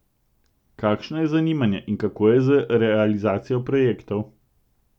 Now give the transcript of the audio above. Kakšno je zanimanje in kako je z realizacijo projektov?